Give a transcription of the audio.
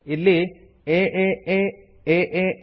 ಇಲ್ಲಿ ಏಎ aaa